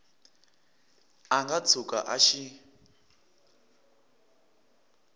a nga tshuka a xi